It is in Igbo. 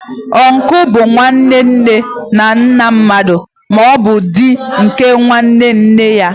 Uncle bụ nwanne nne na nna mmadụ, ma ọ bụ di nke nwanne nne ya.